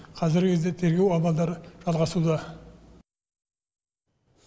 қазіргі кезде тергеу амалдары жалғасуда